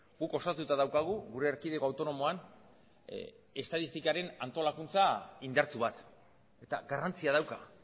guk osatuta daukagu gure erkidego autonomoan estatistikaren antolakuntza indartsu bat eta garrantzia dauka